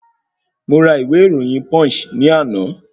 Mo ra ìwé ìròyìn Punch ní àná